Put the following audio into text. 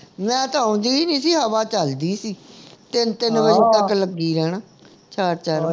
late ਆਉਂਦੀ ਨਹੀਂ ਸੀ ਹਵਾ ਚਲਦੀ ਸੀ ਤਿੰਨ ਤਿੰਨ ਵਜੇ ਤੱਕ ਲੱਗੀ ਰਹਿਣਾ